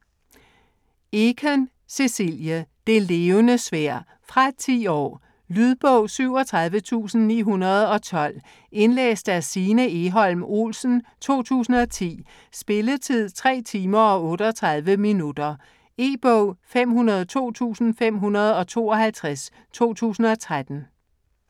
Eken, Cecilie: Det Levende Sværd Fra 10 år. Lydbog 37912 Indlæst af Signe Egholm Olsen, 2010. Spilletid: 3 timer, 38 minutter. E-bog 502552 2013.